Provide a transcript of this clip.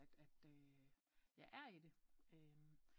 At jeg er i det